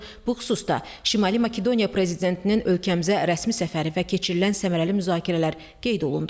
Bu xüsusda Şimali Makedoniya prezidentinin ölkəmizə rəsmi səfəri və keçirilən səmərəli müzakirələr qeyd olundu.